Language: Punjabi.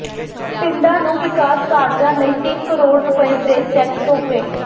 ਪਿੰਡਾਂ ਨੂੰ ਵਿਕਾਸ ਕਾਰਜਾਂ ਲਈ ਤਿੰਨ ਕਰੋੜ ਰੁਪਏ ਦੇ ਚੈੱਕ ਸੌਂਪੇ